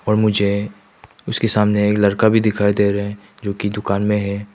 पर मुझे उसके सामने एक लड़का भी दिखाई दे रहे हैं जो की दुकान में है।